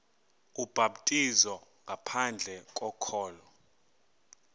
ubhaptizo ngaphandle kokholo